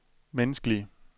menneskelige